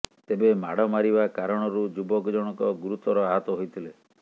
ତେବେ ମାଡ ମାରିବା କାରଣରୁ ଯୁବକ ଜଣକ ଗୁରୁତର ଆହତ ହୋଇଥିଲେ